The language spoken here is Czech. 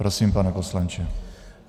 Prosím, pane poslanče.